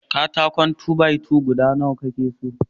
Katakon "2-by-2" guda Nawa ka ke so?